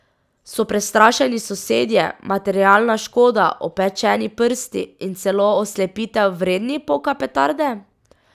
So prestrašeni sosedje, materialna škoda, opečeni prsti in celo oslepitev vredni poka petarde?